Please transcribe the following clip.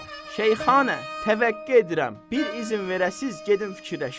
Şeyxana, təvəqqə edirəm, bir izin verəsiz, gedim fikirləşim.